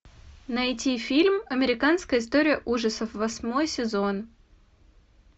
найти фильм американская история ужасов восьмой сезон